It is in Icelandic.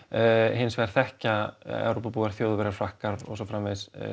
hins vegar þekkja Evrópubúar Þjóðverjar Frakkar og svo framvegis